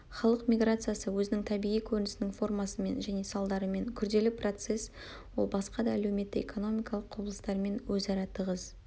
халық миграциясы-өзінің табиғи көрінісінің формасымен және салдарымен күрделі процесс ол басқа да әлеуметтік-экономикалық құбылыстармен өзара тығыз